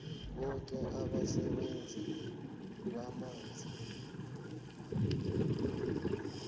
boke abasebenzisi bamanzi